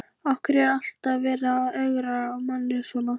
Af hverju er alltaf verið að ögra manni svona?